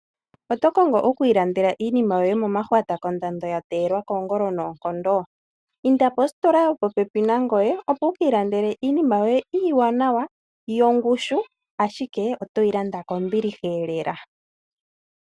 Oto kongo okwiilandela iinima yoye momahwata kondando yateelwa kongolo noonkondo? Inda positola yopopepi nangoye opo wukiilandele yoye iiwanawa , yongushu, ashike oto yi landa kombilihaelela .